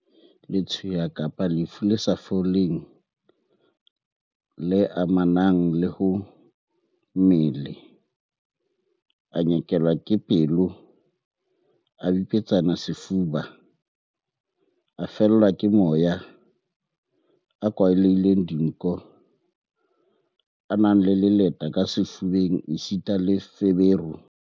Letshweya kapa lefu le sa foleng le amanang le ho mmele, a nyekelwa ke pelo, a bipetsane sefuba, a fellwa ke moya, a kwalehile dinko, a na le leleta ka sefubeng esita le feberu.